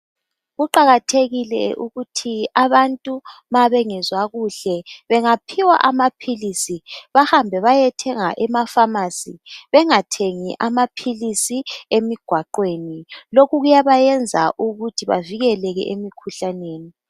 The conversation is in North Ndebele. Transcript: Kuqakathekile ukuthi abantu mabengezwa kuhle bengaphiwa amaphilisi bahambe bayethenga emafamasi bengathengi amaphilisi emigwaqweni lokhu kuyabayenza ukuthi bavikeleke emikhuhlaneni.